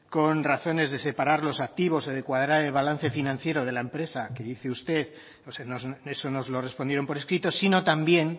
con razones de separar los activos o de cuadrar el balance financiero de la empresa que dice usted eso nos lo respondieron por escrito sino también